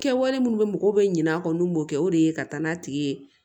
Kɛwale minnu bɛ mɔgɔw bɛ ɲinɛ a kɔ n'u m'o kɛ o de ye ka taa n'a tigi ye